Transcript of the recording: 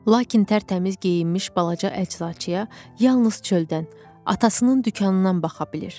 Lakin tərtəmiz geyinmiş balaca əczaçıya yalnız çöldən, atasının dükanından baxa bilir.